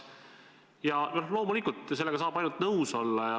Ja loomulikult sellega saab ainult nõus olla.